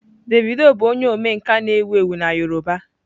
Davido bụ onye omenkà na-ewu ewu na yoruba.